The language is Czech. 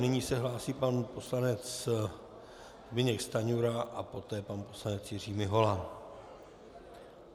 Nyní se hlásí pan poslanec Zbyněk Stanjura a poté pan poslanec Jiří Mihola.